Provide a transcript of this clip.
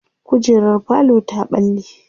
kujerar falo ta ɓalle